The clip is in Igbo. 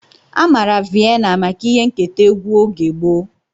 Amara Viena maka ihe nketa egwu oge gboo.